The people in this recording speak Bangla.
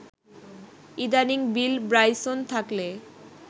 ইদানীং বিল ব্রাইসন থাকলে